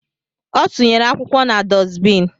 Ọ tụnyere akwụkwọ na dusbin